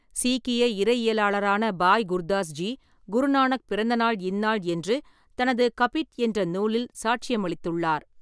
சீக்கிய இறையியலாளரான பாய் குர்தாஸ் ஜி, குருநானக் பிறந்தநாள் இந்நாள் என்று தனது 'கபிட்' என்ற நூலில் சாட்சியமளித்துள்ளார்.